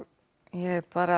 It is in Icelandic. ég bara